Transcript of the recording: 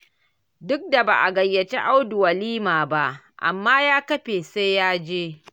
Duk da ba a gayyaci Audu walimar ba, amma ya kafe sai ya je